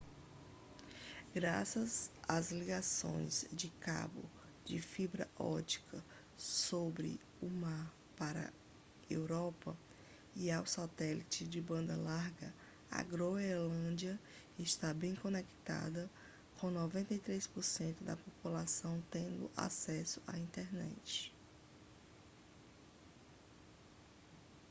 graças às ligações de cabo de fibra ótica sob o mar para a europa e ao satélite de banda larga a groenlândia está bem conectada com 93% da população tendo acesso à internet